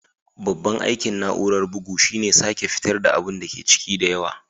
Babban aikin na'urar bugu shine sake fitar da abun ciki da yawa.